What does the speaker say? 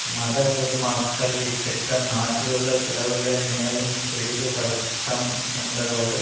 மதகுருமார்கள் இத்திட்டம் நாட்டிலுள்ள பிளவுகளை மேலும் பெரிதுபடுத்தம் என்பதோடு